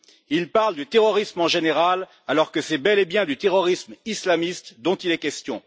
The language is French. Il parle du terrorisme en général, alors que c'est bel et bien du terrorisme islamiste dont il est question.